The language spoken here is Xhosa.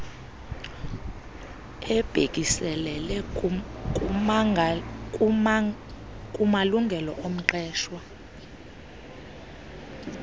ebhekiselele kumalungelo omqeshwa